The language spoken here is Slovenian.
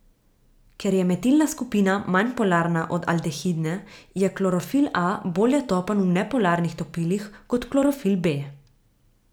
Ker je metilna skupina manj polarna od aldehidne, je klorofil a bolje topen v nepolarnih topilih kot klorofil b.